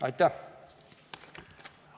Aitäh!